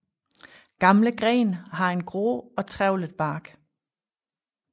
Gamle grene har en grå og trævlet bark